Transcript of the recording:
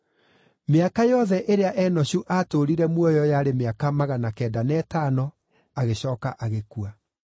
Mĩaka yothe ĩrĩa Enoshu aatũũrire muoyo yarĩ mĩaka magana kenda na ĩtano, agĩcooka agĩkua.